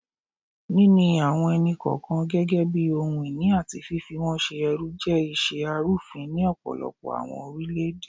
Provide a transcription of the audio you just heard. Nini awọn ẹni-kọọkan gẹgẹbi ohun-ini ati fifi wọn ṣe ẹrú jẹ iṣe arufin ni ọpọlọpọ awọn orilẹ-ede